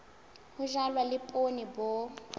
ho jalwa le poone bo